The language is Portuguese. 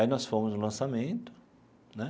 Aí nós fomos no lançamento, né?